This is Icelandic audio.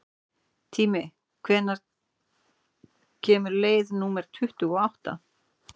Tími, hvenær kemur leið númer tuttugu og átta?